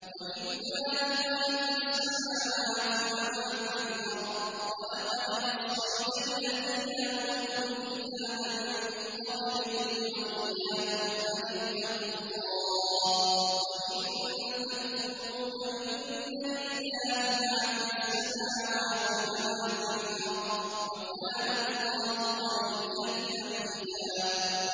وَلِلَّهِ مَا فِي السَّمَاوَاتِ وَمَا فِي الْأَرْضِ ۗ وَلَقَدْ وَصَّيْنَا الَّذِينَ أُوتُوا الْكِتَابَ مِن قَبْلِكُمْ وَإِيَّاكُمْ أَنِ اتَّقُوا اللَّهَ ۚ وَإِن تَكْفُرُوا فَإِنَّ لِلَّهِ مَا فِي السَّمَاوَاتِ وَمَا فِي الْأَرْضِ ۚ وَكَانَ اللَّهُ غَنِيًّا حَمِيدًا